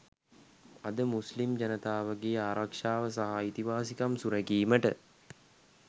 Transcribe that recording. අද මුස්ලිම් ජනතාවගේ ආරක්ෂාව සහ අයිතිවාසිකම් සුරැකීමට